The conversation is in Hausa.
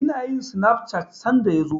Ina yin sinaf cat sanda ya zo.